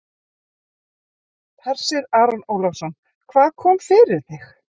Hersir Aron Ólafsson: Hvað kom fyrir þig?